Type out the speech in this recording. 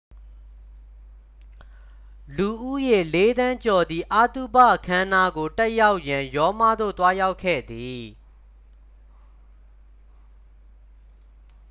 လူဦးရေ လေးသန်းကျော်သည် အသုဘအခမ်းအနားကို တက်ရောက်ရန် ရောမသို့ သွားရောက်ခဲ့သည်